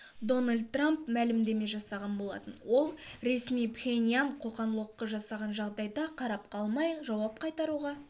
дональд трамп мәлімдеме жасаған болатын ол ресми пхеньян қоқан-лоққы жасаған жағдайда қарап қалмай жауап қайтаруға